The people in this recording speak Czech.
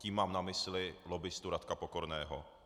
Tím mám na mysli lobbistu Radka Pokorného.